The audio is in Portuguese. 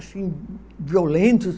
Assim, violentos.